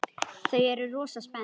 Þau eru rosa spennt.